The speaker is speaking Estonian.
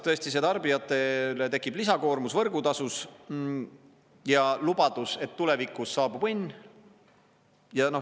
Tõesti, tarbijatele tekib lisakoormus võrgutasus ja lubadus, et tulevikus saabub õnn.